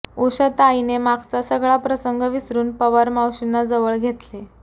उषाताईने मागचा सगळा प्रसंग विसरून पवार मावशींना जवळ घेतले